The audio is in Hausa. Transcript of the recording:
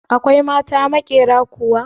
Akwai mata maƙyera kuwa?